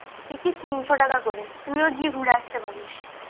ticket তিনশো টাকা করে তুই ও গিয়ে ঘুরে আসতে পারিস